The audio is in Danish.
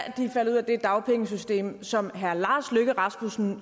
faldet ud af det dagpengesystem som herre lars løkke rasmussen